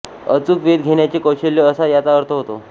अचूक वेध घेण्याचे कौशल्य असा याचा अर्थ होतो